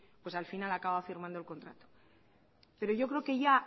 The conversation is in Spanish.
pues al final acaba firmando el contrato pero yo creo que ya